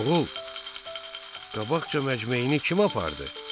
Oğul, qabaqca məcmeyini kim apardı?